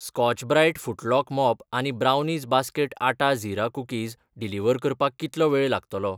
Scotch Brite footlock mop आनी brownies basket आटा झीरा कुकीज डिलिव्हर करपाक कितलो वेळ लागतलो ?